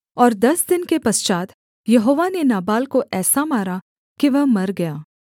और दस दिन के पश्चात् यहोवा ने नाबाल को ऐसा मारा कि वह मर गया